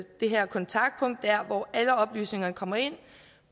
det her kontaktpunkt der hvor alle oplysninger kommer ind